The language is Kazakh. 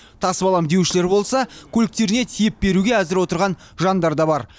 тасып аламын деушілер болса көліктеріне тиеп беруге әзір отырған жандар да бар